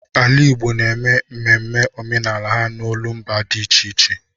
Ala Igbo na-eme ememe omenala ha n'olumba ha dị iche iche.